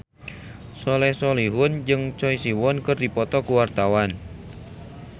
Soleh Solihun jeung Choi Siwon keur dipoto ku wartawan